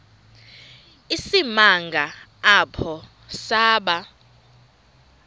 isimanga apho saba